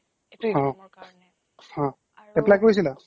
হা apply কৰিছিলা?